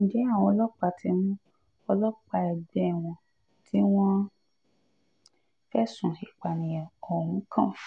ǹjẹ́ àwọn ọlọ́pàá ti mú ọlọ́pàá ẹgbẹ́ wọn tí wọ́n fẹ̀sùn ìpànìyàn ohun kan